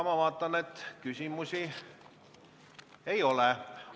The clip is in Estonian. Ma näen, et küsimusi ei ole.